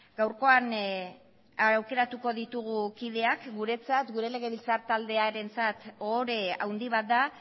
gaurkoan aukeratuko ditugu kideak guretzat gure legebiltzar taldearentzat ohore handi bat da